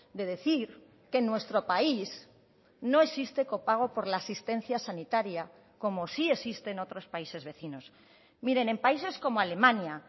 de decir que nuestro país no existe copago por la asistencia sanitaria como sí existe en otros países vecinos miren en países como alemania